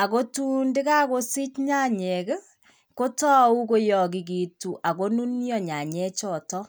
ak kotun ndakakosich nyanyek ii, kotou ko yakikitu ak konunyo nyanyechoto.